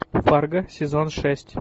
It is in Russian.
фарго сезон шесть